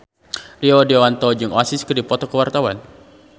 Rio Dewanto jeung Oasis keur dipoto ku wartawan